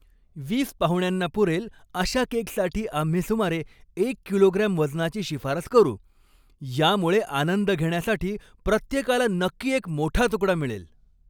वीस पाहुण्यांना पुरेल अशा केकसाठी आम्ही सुमारे एक किलोग्रॅम वजनाची शिफारस करू. यामुळे आनंद घेण्यासाठी प्रत्येकाला नक्की एक मोठा तुकडा मिळेल.